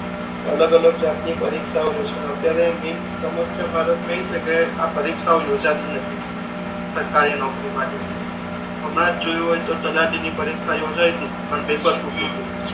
અલગ અલગ જાત ની પરીક્ષાઓ લેશે અત્યારે મેઇન સમસ્યા ભારત મા એ છે કે આ પરીક્ષાઓ યોજાતી નથી સરકારી નોકરી માટે ની હમણા જ જોયુ હોય તો તલાટી ની પરીક્ષા યોજાઈ હતી પણ પેપર ફૂટી ગયુ હમ હમ